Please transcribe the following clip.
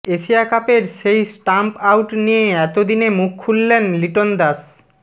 Asia কাপের সেই stump out নিয়ে এতদিনে মুখ খুললেন লিটন দাস